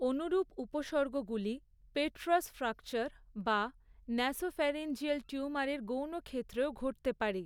অনুরূপ উপসর্গগুলি, petrous fracture বা নাসোফ্যারিঞ্জিয়াল টিউমারের গৌণ ক্ষেত্রেও ঘটতে পারে।